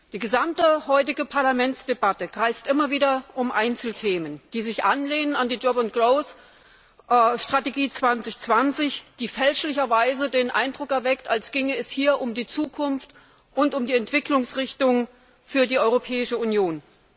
Die gesamte heutige Parlamentsdebatte kreist immer wieder um Einzelthemen, die sich anlehnen an die Strategie für Beschäftigung und Wachstum 2020, die fälschlicherweise den Eindruck erweckt, als ginge es hier um die Zukunft und um die Entwicklungsrichtung für die Europäische Union.